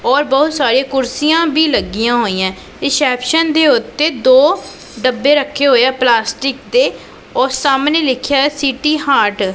ਔਰ ਬਹੁਤ ਸਾਰੀ ਕੁਰਸੀਆਂ ਵੀ ਲੱਗੀਆਂ ਹੋਈਆਂ ਰਿਸੈਪਸ਼ਨ ਦੇ ਉੱਤੇ ਦੋ ਡੱਬੇ ਰੱਖੇ ਹੋਏ ਆ ਪਲਾਸਟਿਕ ਦੇ ਔਰ ਸਾਹਮਣੇ ਲਿਖਿਆ ਸੀਟੀ ਹਾਰਟ ।